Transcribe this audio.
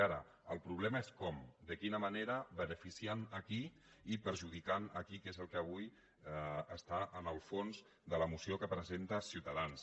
ara el problema és com de quina manera beneficiant a qui i perjudicant a qui que és el que avui està en el fons de la moció que presenta ciutadans